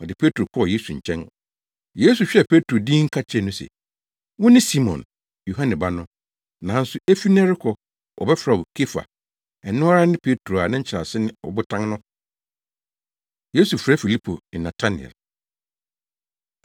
Ɔde Petro kɔɔ Yesu nkyɛn. Yesu hwɛɛ Petro dinn ka kyerɛɛ no se, “Wone Simon, Yohane ba no. Nanso efi nnɛ rekɔ wɔbɛfrɛ wo Kefa” (ɛno ara ne Petro a ne nkyerɛase ne Ɔbotan no). Yesu Frɛ Filipo Ne Natanael